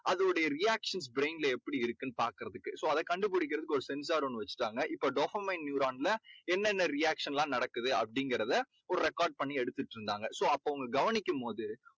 அதோடைய reactions brain லே எப்படி இருக்குன்னு பாக்கறதுக்கு. so அதை கண்டுபிடிக்கறதுக்கு ஒரு sensor ஒண்ணு வெச்சுட்டாங்க. இப்போ dopomaine neuron ல என்னன்ன reaction லாம் நடக்குது அப்படீங்கறத ஒரு record பண்ணி எடுத்துட்டிருந்தாங்க. so அப்போ அவங்க கவனிக்கும் போது